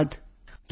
phone call ਸਮਾਪਤ